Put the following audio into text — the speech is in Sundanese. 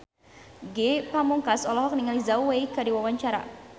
Ge Pamungkas olohok ningali Zhao Wei keur diwawancara